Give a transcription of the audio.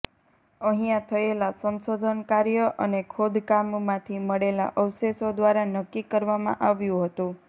અહીંયા થયેલા સંશોધન કાર્ય અને ખોદકામમાંથી મળેલા અવશેષો દ્વારા નક્કી કરવામાં આવ્યું હતું